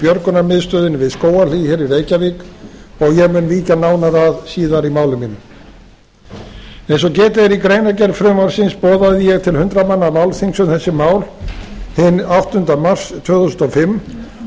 björgunarmiðstöðinni við skógarhlíð hér í reykjavík og ég mun víkja nánar að síðar í máli mínu eins og getið er í greinargerð frumvarpsins boðaði ég til hundrað manna málþings um þessi mál hinn áttunda mars tvö þúsund og fimm og